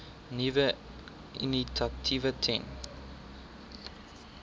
nuwe initiatiewe ten